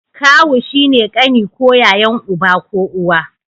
Kawu shine kani ko yayan uba ko uwa